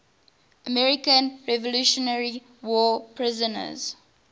american revolutionary war prisoners